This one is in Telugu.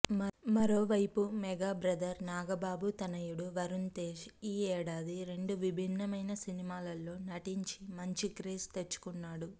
మరోవైపు మెగాబ్రదర్ నాగబాబు తనయుడు వరుణ్తేజ్ ఈ ఏడాది రెండు విభిన్నమైన సినిమాల్లో నటించి మంచి క్రేజ్ తెచ్చుకున్నాడు